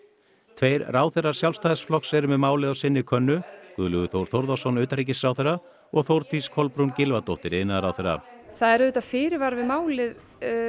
tveir ráðherrar Sjálfstæðisflokks eru með málið á sinni könnu Guðlaugur Þór Þórðarson utanríkisráðherra og Þórdís Kolbrún Gylfadóttir iðnaðarráðherra það eru auðvitað fyrirvarar við málið